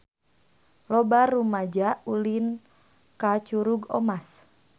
Loba rumaja ulin ka Curug Omas